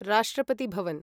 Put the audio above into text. राष्ट्रपति भवन्